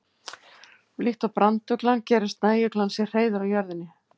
Líkt og branduglan gerir snæuglan sér hreiður á jörðinni.